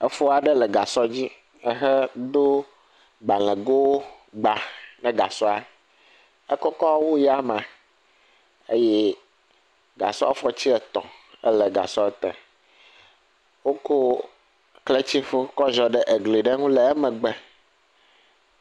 Efo aɖe le gasɔ dzi ehedo gbalẽgo gba ne gasɔa, ekɔkɔ wu yame eye gasɔ fɔti etɔ̃ ele gasɔ te, wokɔ kletifɔ kɔ ziɔ ɖe exɔ aɖe ŋu le emegbe.